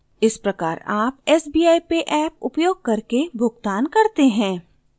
इस प्रकार आप sbi pay ऍप उपयोग करके भुगतान करते हैं